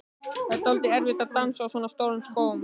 Það var dálítið erfitt að dansa á svona stórum skóm.